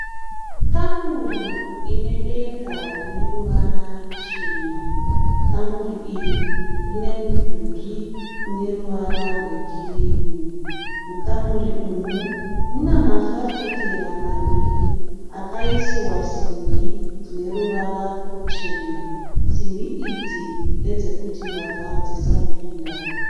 Kamuri inedenga rineruvara ruchena. Kamuri iri rine mudhuri uneruvara rwekirimu. Mukamuri umu munemafafitera maviri akaisiwa masimbi aneruvara ruchena. Simbi idzi ndedzekuti mbavha dzisapinda.